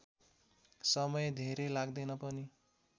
समय धेरै लाग्दैन पनि